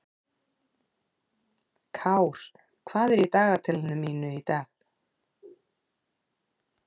Kár, hvað er á dagatalinu mínu í dag?